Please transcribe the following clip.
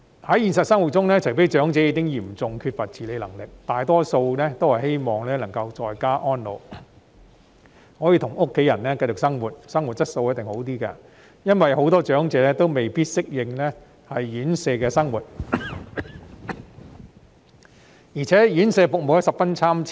在現實生活中，除非長者已經嚴重缺乏自理能力，否則他們大多數也希望能夠在家安老，與家人繼續一起生活，生活質素也一定較好，因為很多長者未必適應院舍生活，而且院舍服務十分參差。